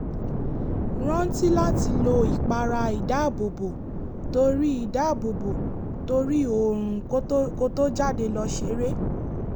rántí láti lo ìpara ìdáàbòbò tóri ìdáàbòbò tóri oòrùn ko tó jáde lọ seré